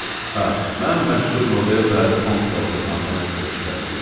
Hə, mən məşhur Lovel və Komp zavodu kompaniyasında iştirak eləyirəm.